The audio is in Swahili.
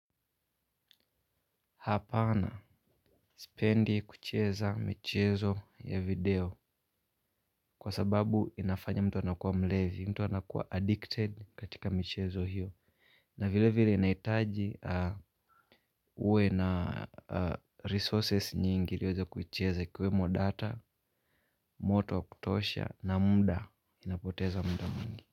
Hapana, spendi kucheza mchezo ya video kwa sababu inafanya mtu anakuwa mlevi, mtu anakuwa addicted katika mchezo hiyo. Na vile vile inahitaji ah, uwe na resources nyingi ili uweze kuicheza ikiwemo data, moto wa kutosha na muda inapoteza muda mwingi.